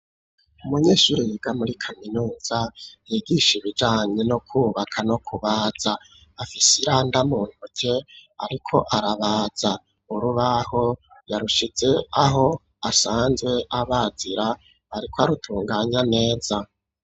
Umunyeshuri yiga muri kaminuza yigisha ibijanye no kubaka no kubaza, afisiranda mu ntuke ariko arabaza, urubaho yarushize aho asanzwe abazira ariko arutunganya neza.